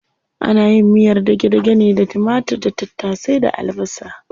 Ana yin miyar dage-dage ne da timatir da tattasai da albasa.